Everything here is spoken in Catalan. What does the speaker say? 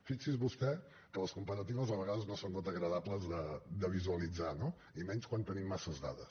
fixi’s vostè que les comparatives a vegades no són gota agradables de visualitzar no i menys quan tenim massa dades